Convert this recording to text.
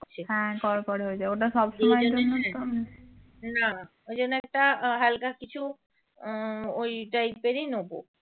না ওই জন্যই একটা হালকা কিছু উম ওই type রই নেব